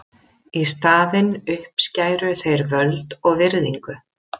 Í staðinn uppskæru þeir völd og virðingu.